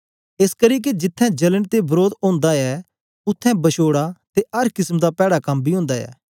एसकरी के जिथें जलन ते वरोध ओंदा ऐ उत्थें बछोडा ते अर किसम दा पैड़ा कम बी ओंदा ऐ